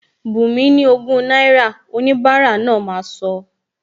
Bunmi ni ọgọrun náírà,! Omokunrin náà máa sọ